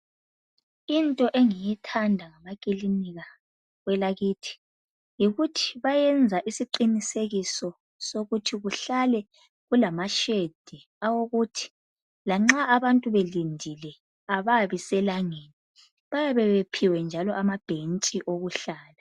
Into engiyithanda ngamakilinika kwelakithi yikuthi bayenza isiqinisekiso sokuthi kuhlale kulama"shade" awokuthi lanxa abantu belindile ababi selangeni. Bayabe bephiwe njalo amabhentshi okuhlala.